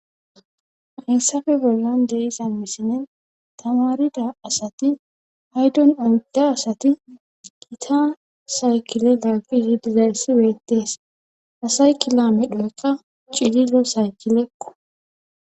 Hayssafe bollan dey iza misine tamarida asati haydon oydda asati gita saykile laagi zidiza yssi weettees asay kilomedhoyqqa cililo saykilekqo